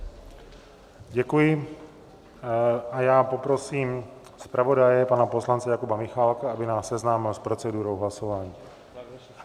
Děkuji a já poprosím zpravodaje pana poslance Jakuba Michálka, aby nás seznámil s procedurou hlasování.